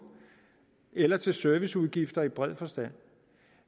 eller til serviceudgifter i bred forstand